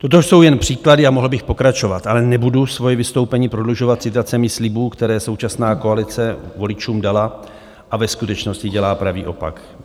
Toto jsou jen příklady a mohl bych pokračovat, ale nebudu svoje vystoupení prodlužovat citacemi slibů, které současná koalice voličům dala a ve skutečnosti dělá pravý opak.